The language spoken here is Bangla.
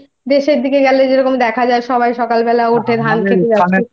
যে টুকুনি আছে ওই দেশের দিকে গেলে যেরকম দেখা যায় ওই সবাই সকালবেলা ওঠে ধানক্ষেতে যায়